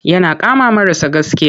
Yana kama marasa gaskiya.